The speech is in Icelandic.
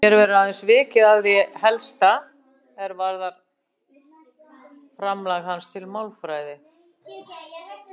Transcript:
Hér verður aðeins vikið að því helsta er varðar framlag hans til málfræði.